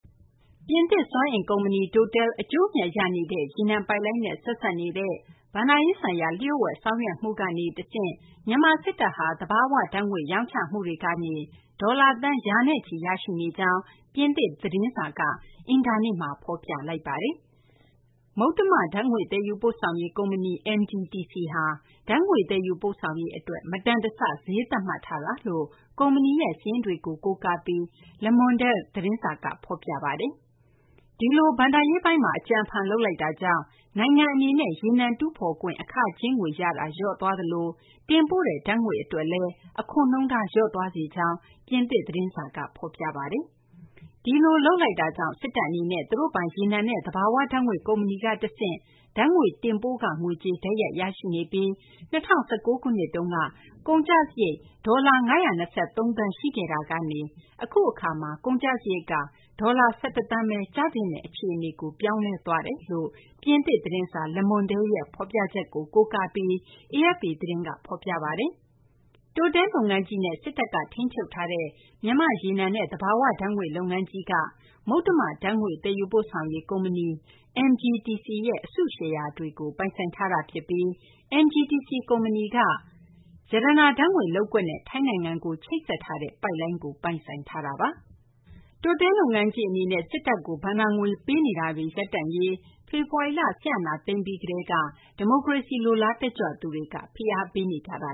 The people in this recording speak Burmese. ပြင်သစ် စွမ်းအင် ကုမ္ပဏီ Total အကျိုးအမြတ် ရနေတဲ့ ရေနံပိုက်လိုင်းနဲ့ ဆက်စပ်နေတဲ့ ဘဏ္ဍာရေးဆိုင်ရာ လျှို့ဝှက် ဆောင်ရွက်မှု ကနေ တဆင့် မြန်မာ စစ်တပ်ဟာ သဘာ၀ ဓာတ်ငွေ့ ရောင်းချရငွေ ဒေါ်လာ သန်း ရာချီရရှိနေကြောင်း ပြင်သစ် သတင်းစာ တစောင်က အင်္ဂါနေ့မှာ ဖော်ပြလိုက်ပါတယ်။ ဘာမြူဒါမှာ မှတ်ပုံတင်ပြီး ၁၉၉၄ ခုနှစ်မှာ စတင်ဖွဲ့စည်းခဲ့တဲ့ မုတ္တမ ဓာတ်ငွေ့ သယ်ယူပို့ဆောင်ရေး ကုမ္ပဏီ MGTC ဟာ ဓာတ်ငွေ့ သယ်ယူပို့ဆောင်ရေး အတွက် မတန်တဆ ဈေးသတ်မှတ်ထားတာလို့ ကုမ္ပဏီရဲ့ စာရင်းတွေကို ကိုးကားပြီး Le Monde သတင်းစာက ဖော်ပြပါတယ်။ ဒီလို ဘဏ္ဍာရေးပိုင်းမှာ အကြံအဖန် လုပ်လိုက်တာကြောင့် နိုင်ငံအနေနဲ့ ရေနံ တူးဖော်ခွင့် အခကြေးငွေ ရတာ လျော့သွားသလို တင်ပို့တဲ့ ဓာတ်ငွေ့တွေ အတွက်လည်း အခွန်နှုန်းထား လျော့သွားစေကြောင်း ပြင်သစ် သတင်းစာ Le Monde က ဖော်ပြပါတယ်။ ဒီလို လုပ်လိုက်တာကြောင့် စစ်တပ် အနေနဲ့ သူတို့ပိုင် ရေနံနဲ့ သဘာ၀ ဓာတ်ငွေ့ ကုမ္ပဏီက တဆင့် ဓာတ်ငွေ့ တင်ပို့ခ ငွေကြေး တိုက်ရိုက် ရရှိနေပြီး ၂၀၁၉ ခုနှစ်က ကုန်ကျစာရိတ် ဒေါ်လာ ၅၂၃ သန်း ရှိခဲ့တာကနေ အခု အခါမှာ ကုန်ကျစာရိတ် ဒေါ်လာ ၁၁ သန်းဘဲ ကျသင့်တော့တဲ့ အခြေအနေကို ပြောင်းလဲသွားကြောင်း ပြင်သစ် သတင်းစာ Le Monde ရဲ့ ဖော်ပြချက်ကို ကိုးကားပြီး AFP သတင်းက ဖော်ပြထားပါတယ်။ Total လုပ်ငန်းကြီးနဲ့ စစ်တပ်က ထိန်းချုပ်ထားတဲ့ မြန်မာ့ရေနံနဲ့ သဘာ၀ ဓာတ်ငွေ့ လုပ်ငန်းကြီးက မုတ္တမ ဓာတ်ငွေ့ သယ်ယူပို့ဆောင်ရေး ကုမ္ပဏီ MGTC ရဲ့ အစုရှယ်ယာတွေကို ပိုင်ဆိုင်ထားတာ ဖြစ်ပြီး MGTC ကုမ္ပဏီက ရတနာ ဓာတ်ငွေ့ လုပ်ကွက်နဲ့ ထိုင်းနိုင်ငံကို ချိတ်ဆက်ထားတဲ့ ပိုက်လိုင်းကို ပိုင်ဆိုင်ထားတာပါ။ Total လုပ်ငန်းကြီး အနေနဲ့ စစ်တပ်ကို ဘဏ္ဍာငွေ ပေးအပ်နေတာတွေ ရပ်တန့်ရေး အတွက် ဖေဖော်ဝါရီလ စစ်အာဏာသိမ်းပြီး ကတည်းက ဒီမိုကရေစီ လိုလားသူ တက်ကြွလှုပ်ရှားသူတွေက ဖိအားပေးနေကြတာ